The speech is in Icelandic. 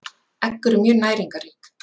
Egg eru mjög næringarrík.